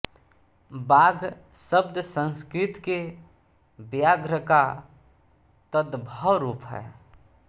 बाघ शब्द संस्कृत के व्याघ्र का तदभव रूप है